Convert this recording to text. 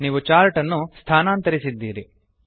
ನೀವು ಚಾರ್ಟ್ ಅನ್ನು ಸ್ಥಾನಾಂತರಿಸಿದ್ದೀರಿ